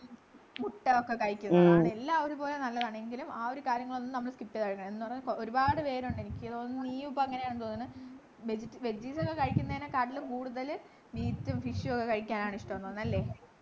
മുട്ട ഒക്കെ കഴിക്കുന്ന താണ് എല്ലാ ഒരുപോലെ നല്ലതാണു എങ്കിലും ആ ഒരു കാര്യങ്ങളൊന്നും നമ്മള് skip ചെയ്ത്‌ എന്നൊന്ന് ഒരുപാട് പേരുണ്ട് എനിക്ക് തോന്നുണു നീയും ഇപ്പൊ അങ്ങനെയാണെന്ന് തോന്നുന്നു ഒക്കെ കഴിക്കുന്നതിനെക്കാട്ടിലും കൂടുതൽ meat ഉം fish ഉം ഒക്കെ കഴിക്കാനാണിഷ്ടം ന്നു തോന്നുന്നു അല്ലെ